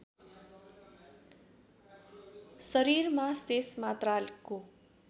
शरीरमा शेष मात्राको